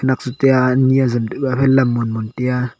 agjaw tiya ani ajam tikuh a haiphai lam monmon taiya.